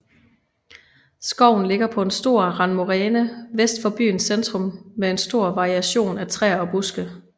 Skoven ligger på en stor randmoræne vest for byens centrum med en stor variation af træer og buske